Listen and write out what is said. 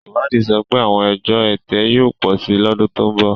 Ìwádìí sọ pé àwọn ẹjọ́ ẹ̀tẹ̀ yóò pọ̀ sí i lọ́dún tó ń bọ̀.